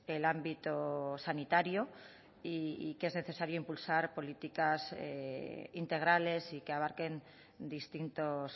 el ámbito sanitario y que es necesario impulsar políticas integrales y que abarquen distintos